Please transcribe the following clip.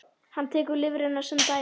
Hann tekur lifrina sem dæmi.